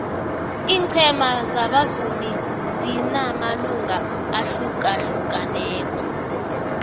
ingcema zabavumi zinamalunga ahlukahlukaneko